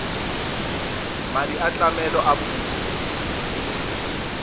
madi a tlamelo a puso